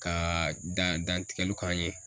Ka dan dantigɛliw k'an ye.